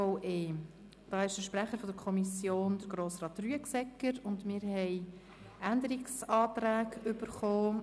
Kommissionssprecher ist Grossrat Rüegsegger, und wir haben drei Änderungsanträge erhalten.